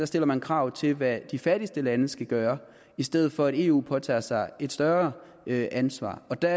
stiller man krav til hvad de fattigste lande skal gøre i stedet for at eu påtager sig et større ansvar der